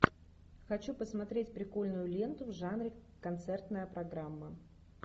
хочу посмотреть прикольную ленту в жанре концертная программа